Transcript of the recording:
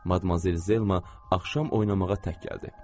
Madmazel Zelma axşam oynamağa tək gəldi.